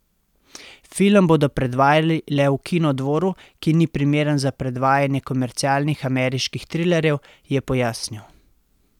Film bodo predvajali le v Kinodvoru, ki ni primeren za predvajanje komercialnih ameriških trilerjev, je pojasnil.